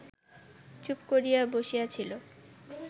চুপ করিয়া বসিয়াছিল